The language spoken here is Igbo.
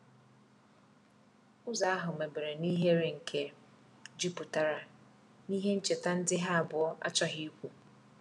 Ụzo ahu mebere n'ihere nke juputara n'ihe ncheta ndi ha abuo achoghi ikwu